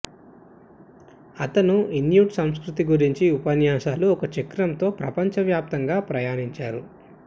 అతను ఇన్యుట్ సంస్కృతి గురించి ఉపన్యాసాలు ఒక చక్రం తో ప్రపంచవ్యాప్తంగా ప్రయాణించారు